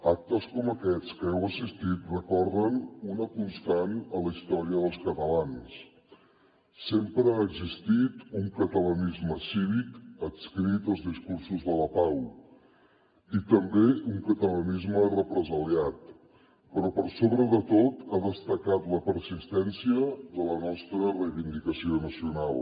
actes com aquests a què heu assistit recorden una constant en la història dels catalans sempre ha existit un catalanisme cívic adscrit als discursos de la pau i també un catalanisme represaliat però per sobre de tot ha destacat la persistència de la nostra reivindicació nacional